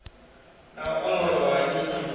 na u ongolowa ha nyito